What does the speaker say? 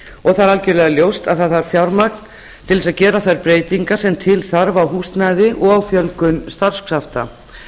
og það er algerlega ljóst að það þarf fjármagn til þess að gera þær breytingar sem til þarf á húsnæði og fjölgun starfskrafta